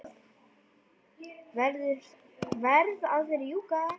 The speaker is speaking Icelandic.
Verð að rjúka.